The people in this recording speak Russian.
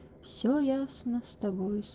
все ясно с тобой